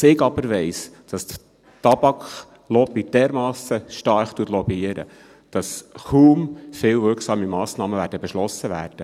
Was ich aber weiss, ist, dass die Tabaklobby dermassen stark lobbyiert, dass kaum viele wirksame Massnahmen beschlossen werden.